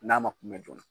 N'a ma kunbɛn joona